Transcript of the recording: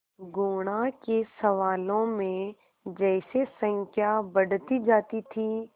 गुणा के सवालों में जैसे संख्या बढ़ती जाती थी